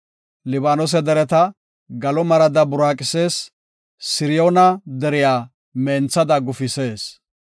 Libaanose dereta galo marada buraaqisees; Siriyoona deriya menthada gufisees.